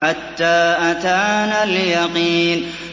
حَتَّىٰ أَتَانَا الْيَقِينُ